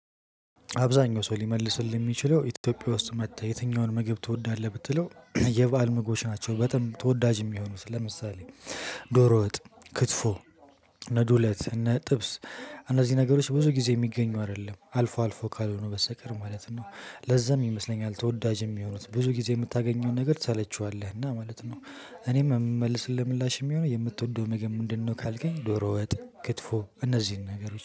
አብዛኛው ሰው ሊመልስልህ የሚችለው ኢትዮጵያ ውስጥ መጥተህ የትኛውን ምግብ ትወዳለህ ብትለው የበአል ምግቦች ናቸው በጣም ተወዳጅ የሚሆኑት ለምሳሌ ዶሮ ወጥ ክትፎ እነ ዱለት እነ ጥብስ እነዚህ ነገሮች ብዙ ጊዜ የሚገኙ አይደሉም አልፎ አልፎ ካልሆኑ በስተቀር ማለት ነው። ለዛም ይመስለኛል ተወዳጅ የሚሆኑት ብዙ ጊዜ የምታገኘውን ነገር ትሰለቸዋለህ እና ማለት ነው። እኔም የምመልስልህ ምላሽ የሚሆነው የምትወደው ምግብ ምንድነው? ካልከኝ ዶሮ ወጥ ክትፎ እነዚህን ነገሮች